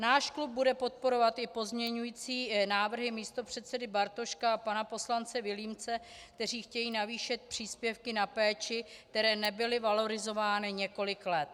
Náš klub bude podporovat i pozměňující návrhy místopředsedy Bartoška a pana poslance Vilímce, kteří chtějí navýšit příspěvky na péči, které nebyly valorizovány několik let.